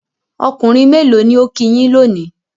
Ọkùnrin mélò ni ó kí yín lónìí?